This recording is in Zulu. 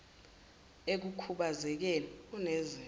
ekukhubaze keni unezinto